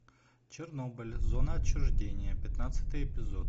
чернобыль зона отчуждения пятнадцатый эпизод